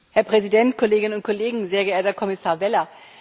Herr Präsident, Kollegen und Kollegen, sehr geehrter Kommissar Vella!